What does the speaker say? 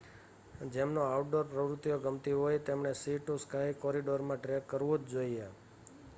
જેમને આઉટડોર પ્રવૃત્તિઓ ગમતી હોય તેમણે સી ટુ સ્કાય કૉરિડૉરમાં ટ્રેક કરવું જ જોઈએ